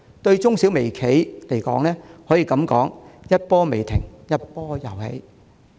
對中小微企而言，這可謂一波未平、一波又起。